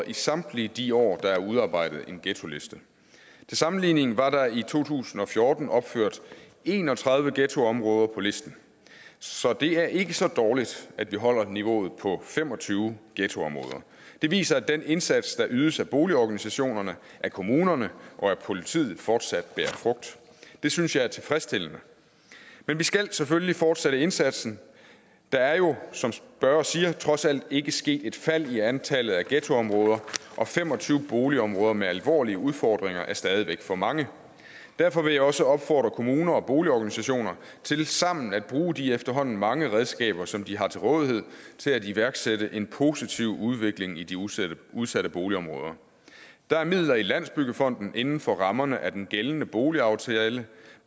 i samtlige de år der er udarbejdet en ghettoliste til sammenligning var der i to tusind og fjorten opført en og tredive ghettoområder på listen så det er ikke så dårligt at vi holder niveauet på fem og tyve ghettoområder det viser at den indsats der ydes af boligorganisationerne af kommunerne og af politiet fortsat bærer frugt det synes jeg er tilfredsstillende men vi skal selvfølgelig fortsætte indsatsen der er jo som spørgeren siger trods alt ikke sket et fald i antallet af ghettoområder og fem og tyve boligområder med alvorlige udfordringer er stadig væk for mange derfor vil jeg også opfordre kommuner og boligorganisationer til sammen at bruge de efterhånden mange redskaber som de har til rådighed til at iværksætte en positiv udvikling i de udsatte udsatte boligområder der er midler i landsbyggefonden inden for rammerne af den gældende boligaftale